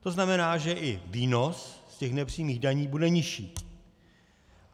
To znamená, že i výnos z těch nepřímých daní bude nižší.